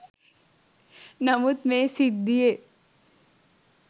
නමුත් මේ සිද්ධියේ